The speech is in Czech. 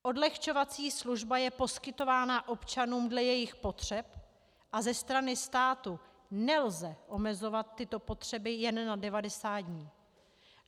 Odlehčovací služba je poskytována občanům dle jejich potřeb a ze strany státu nelze omezovat tyto potřeby jen na 90 dní.